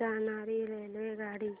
जाणारी रेल्वेगाडी